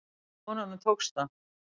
Konunum tókst það.